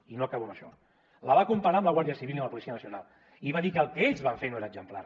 i no acabo amb això la va comparar amb la guàrdia civil i amb la policia nacional i va dir que el que ells van fer no era exemplar